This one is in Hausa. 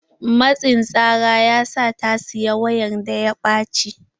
Matsin tsara ya sa ta saya wayan da ya ɓacce.